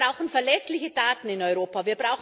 Wir brauchen verlässliche Daten in Europa.